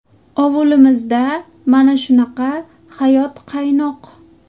Ovulimizda mana shunaqa hayot qaynoq.